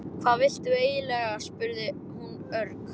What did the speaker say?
Hvað viltu eiginlega? spurði hún örg.